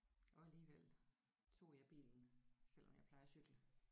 Og alligevel tog jeg bilen selvom jeg plejer at cykle